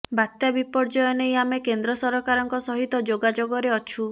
ବାତ୍ୟା ବିପର୍ଯ୍ୟୟ ନେଇ ଆମେ କେନ୍ଦ୍ର ସରକାରଙ୍କ ସହିତ ଯୋଗାଯୋଗରେ ଅଛୁ